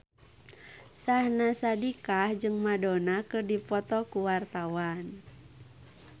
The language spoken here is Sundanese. Syahnaz Sadiqah jeung Madonna keur dipoto ku wartawan